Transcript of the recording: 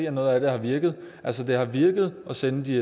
at noget af det har virket altså det har virket at sende de